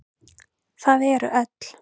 Það eru öll.